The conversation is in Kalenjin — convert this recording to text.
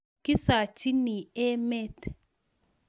kisachini emet